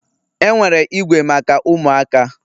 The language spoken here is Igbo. Enwere igwe maka ụmụaka